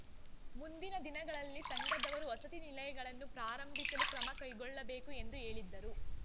ಮುಂದಿನ ದಿನಗಳಲ್ಲಿ ಸಂಘದವರು ವಸತಿ ನಿಲಯಗಳನ್ನು ಪ್ರಾರಂಭಿಸಲು ಕ್ರಮ ಕೈಗೊಳ್ಳಬೇಕು ಎಂದು ಹೇಳಿದರು